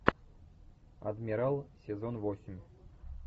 адмирал сезон восемь